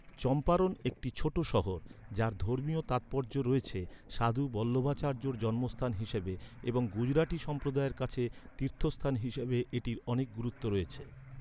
চম্পারণ একটি ছোট শহর, যার ধর্মীয় তাৎপর্য রয়েছে সাধু বল্লভাচার্যের জন্মস্থান হিসাবে, এবং গুজরাটি সম্প্রদায়ের কাছে তীর্থস্থান হিসাবে এটির অনেক গুরুত্ব রয়েছে।